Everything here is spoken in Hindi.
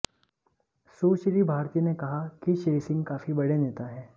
सुश्री भारती ने कहा कि श्री सिंह काफी बड़े नेता हैं